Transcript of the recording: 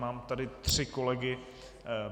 Mám tady tři kolegy.